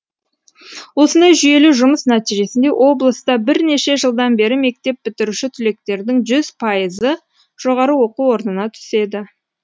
осындай жүйелі жұмыс нәтижесінде облыста бірнеше жылдан бері мектеп бітіруші түлектердің жүз пайызы жоғары оқу орнына түседі